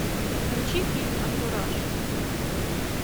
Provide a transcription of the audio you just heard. включи фильм антураж